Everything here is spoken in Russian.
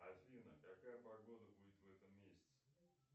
афина какая погода будет в этом месяце